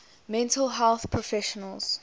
mental health professionals